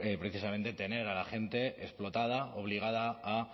precisamente tener a la gente explotada obligada a